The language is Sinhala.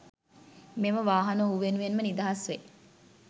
මෙම වාහන ඔහු වෙනුවෙන්ම නිදහස් වේ